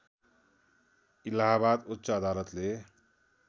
इलाहाबाद उच्च अदालतले